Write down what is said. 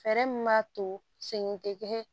Fɛɛrɛ min b'a to segin tɛ kɛ